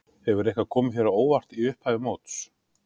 Hefur eitthvað komið þér á óvart í upphafi móts?